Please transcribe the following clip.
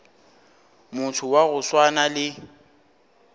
motho wa go swana le